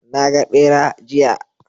Naga ɓera, jiya